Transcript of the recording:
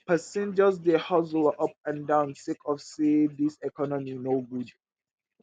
pesin just dey hustle up and down sake of sey dis economy no good.